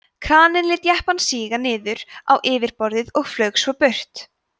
kraninn lét jeppann síga niður á yfirborðið og flaug svo burt